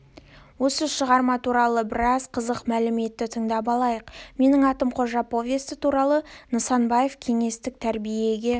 осы шығарма туралы біраз қызық мәліметті тыңдап алайық менің атым қожа повесті туралы нысанбаев кеңестік тәрбиеге